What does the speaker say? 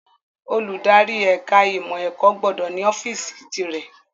Olùdarí ẹ̀ka ìmọ̀ ẹ̀kọ́ gbọ́dọ̀ ní ọ́fíìsì tìrẹ